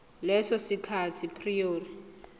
leso sikhathi prior